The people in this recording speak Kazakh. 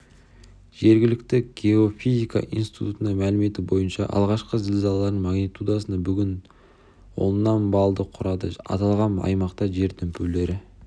жергілікті геофизика институтының мәліметі бойынша алғашқы зілзаланың магнитудасы бүтін оннан баллды құрады аталған аймақта жер дүмпулері